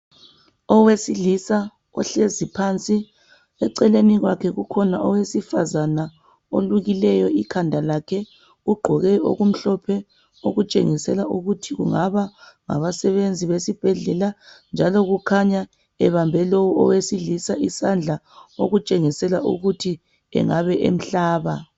Owesilisa uhlezi phansi eceleni kwakhe kukhona owesifazana olukileyo ikhanda lakhe ugqoke okumhlophe okutshengisela ukuthi kungaba ngabasebenzi besibhedlala njalo kukhanya ebebambe lo owesilisa isandla okukhanya ukuthi engabe emhlaba.